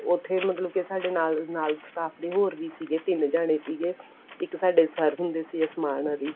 ਉੱਥੇ ਮਤਲਬ ਕੇ ਸਾਡੇ ਨਾਲ ਨਾਲ staff ਦੇ ਹੋਰ ਵੀ ਸੀਗੇ ਤਿੰਨ ਜਾਣੇ ਸੀਗੇ ਇੱਕ ਸਾਡੇ sir ਹੁੰਦੇ ਸੀਗੇ ਅਸਮਾਨ ਅਲੀ